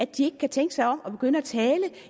de ikke kan tænke sig om og begynde at tale